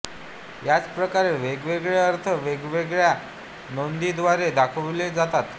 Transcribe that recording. ह्याच प्रकारे वेगवेगळे अर्थ वेगवेगळ्या नोंदींद्वारे दाखवले जातात